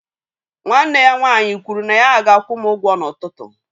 Nwanne ya nwaanyị kwụrụ na ya ga-akwụ m ụgwọ n'ụtụtụ